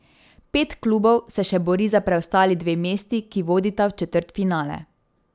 Pet klubov se še bori za preostali dve mesti, ki vodita v četrtfinale.